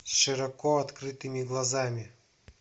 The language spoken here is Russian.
широко открытыми глазами